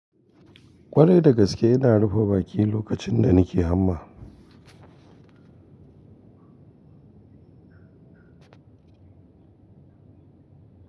Ƙwarai da gaske ina rufe baki lokacin da nike hamma.